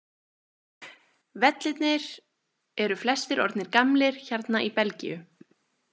Vellirnir eru flestir orðnir gamlir hérna í Belgíu.